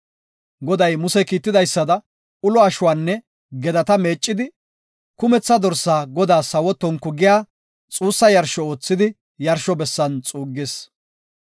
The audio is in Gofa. Goday Muse kiitidaysada ulo ashuwanne gedata meeccidi, kumetha dorsaa Godaas sawo tonku giya xuussa yarsho oothidi yarsho bessan xuuggis.